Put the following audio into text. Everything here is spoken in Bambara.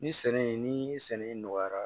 Ni sɛnɛ ni sɛnɛ in nɔgɔyara